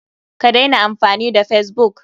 Ka daina amfani da facebook!